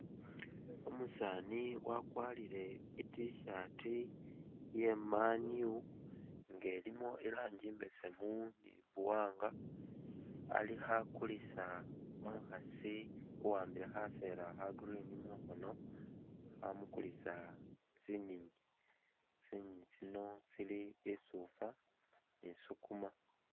Umusani wakwarile T-shirt iye MAN U nga ilimo irangi imbesemu ni buwanga alikho akulisa umukhasi uwambile khabera kha green mukhono khamukulisa tsinyinyi, tsinyinyi tsino tsili isufa ni sukuma